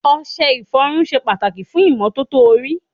Ọṣẹ ìfọrun ṣe pàtàkì fún ìmọ́tótó orí.